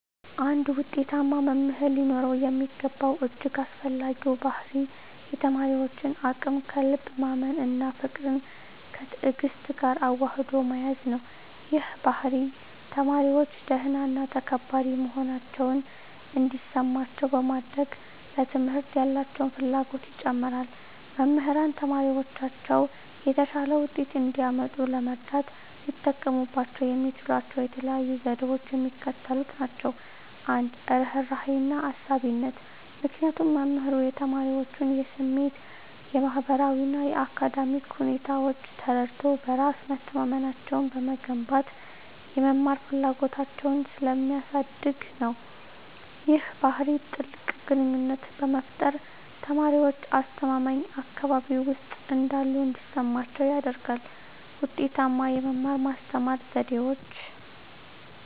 አንድ ውጤታማ መምህር ሊኖረው የሚገባው እጅግ አስፈላጊው ባሕርይ የተማሪዎችን አቅም ከልብ ማመን እና ፍቅርን ከትዕግስት ጋር አዋህዶ መያዝ ነው። ይህ ባሕርይ ተማሪዎች ደህና እና ተከባሪ መሆናቸውን እንዲሰማቸው በማድረግ፣ ለትምህርት ያላቸውን ፍላጎት ይጨምራል። መምህራን ተማሪዎቻቸው የተሻለ ውጤት እንዲያመጡ ለመርዳት ሊጠቀሙባቸው የሚችሏቸው የተለዩ ዘዴዎች የሚከተሉት ናቸው - 1, ርህራሄና አሳቢነት -ምክንያቱም መምህሩ የተማሪዎቹን የስሜት፣ የማህበራዊ እና የአካዳሚክ ሁኔታዎች ተረድቶ፣ በራስ መተማመናቸውን በመገንባት የመማር ፍላጎታቸውን ስለሚያሳድግ ነው። ይህ ባህሪ ጥልቅ ግንኙነትን በመፍጠር፣ ተማሪዎች አስተማማኝ አካባቢ ውስጥ እንዳሉ እንዲሰማቸው ያደርጋል። 2, ውጤታማ የመማር-ማስተማር ዘዴዎች